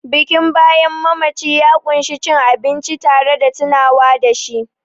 Bikin bayan mamaci ya ƙunshi cin abinci tare da tunawa da shi